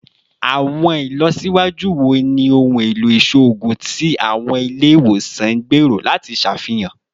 Awọn ilọsiwaju wo ni ohun elo iṣoogun ti awọn ile-iwosan n gbero lati ṣafihan?